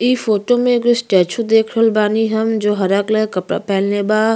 इ फोटो में एगो स्टेचू देख रहल बानी हम जो हरा कलर के कपड़ा पहनले बा।